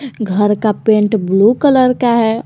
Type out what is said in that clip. घर का paint blue colour का है औ--